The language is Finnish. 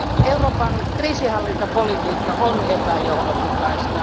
Euroopan kriisinhallintapolitiikka on epäjohdonmukaista.